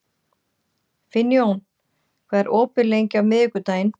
Finnjón, hvað er opið lengi á miðvikudaginn?